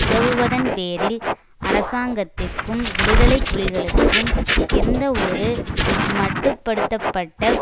உதவுவதன் பேரில் அரசாங்கத்திற்கும் விடுதலை புலிகளுக்கும் எந்தவொரு மட்டு படுத்த பட்ட